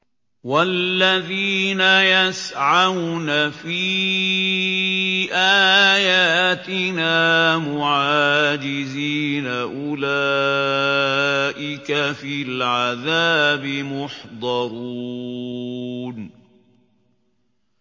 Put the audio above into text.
وَالَّذِينَ يَسْعَوْنَ فِي آيَاتِنَا مُعَاجِزِينَ أُولَٰئِكَ فِي الْعَذَابِ مُحْضَرُونَ